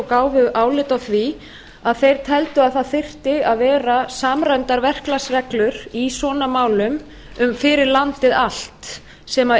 gáfu álit á því að þeir teldu að það þyrftu að vera samræmdar verklagsreglur í svona málum fyrir landið allt sem